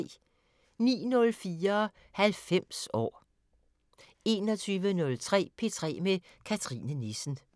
09:04: 90 år 21:03: P3 med Cathrine Nissen